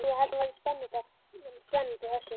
Já, ég held hún verði spennandi þessi.